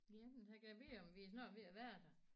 Ja men jeg gad vide om vi er snart ved at være der